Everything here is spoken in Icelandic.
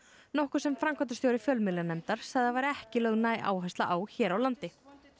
nokkuð sem framkvæmdastjóri fjölmiðlanefndar sagði að ekki væri lögð næg áhersla á hér á landi